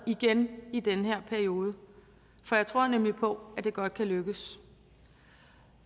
igen i den her periode for jeg tror nemlig på at det godt kan lykkes